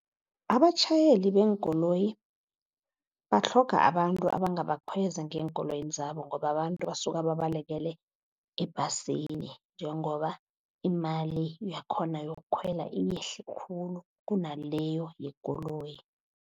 Abatjhayeli beenkoloyi batlhoga abantu abangabakhweza ngeenkoloyini zabo, ngoba abantu basuka babalekele ebhasini. Njengoba imali yakhona yokukhwela yehle khulu kunaleyo yekoloyi.